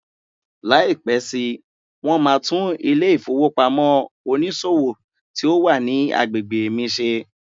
Lai pẹ si, won ma tun ile ifowopamọ onísòwò ti o wa ni agbegbe mi ṣe